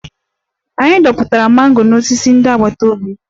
Anyị dọpụtara mango n'osisi ndị agbata obi